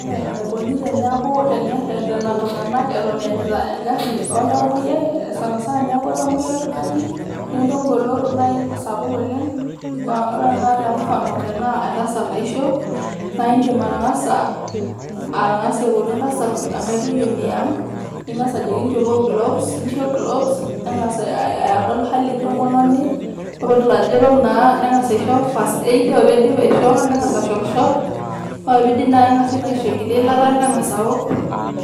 Ore ena Koni tenerretena iltung'anak Eton eeenyita egarri oltamoyiai, sanasana teneeku etamoyia oltung'ani nelotu egoloto naii sapuk oleng', ore tenakata temufano tenaa entasat naisho naa iidim atang'asa , atang'asa aipotu entasat enkaitoiuoni ang' ning'asa inchopo glos, niishop glos neng'as ae adol ehali entomononi ore peedol ajo Eton naa neng'as aisho First Aid ore pee iidip aishoo neng'as ashorr ore ake pee iidip naa keng'asi naa enkiti ilata neng'as aaok,